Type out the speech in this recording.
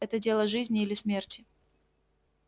это дело жизни или смерти